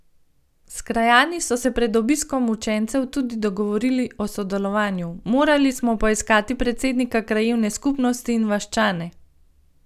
S krajani so se pred obiskom učencev tudi dogovorili o sodelovanju: 'Morali smo poiskati predsednika krajevne skupnosti in vaščane.